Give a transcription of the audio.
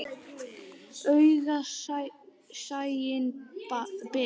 Augað sæinn ber.